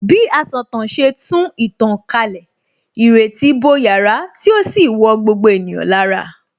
Bí asọ̀tàn ṣe tú ìtàn kalẹ̀, ìrètí bo yàrá tí ó sì wọ gbogbo ènìyàn lára